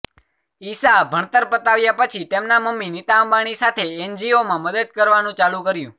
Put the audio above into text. ઈશા ભણતર પતાવ્યા પછી તેમના મમ્મી નીતા અંબાણી સાથે એનજીઓમાં મદદ કરવા નું ચાલુ કર્યું